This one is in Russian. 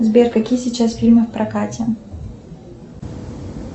сбер какие сейчас фильмы в прокате